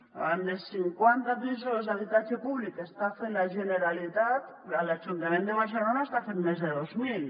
davant dels cinquanta pisos d’habitatge públic que està fent la generalitat l’ajuntament de barcelona n’està fent més de dos mil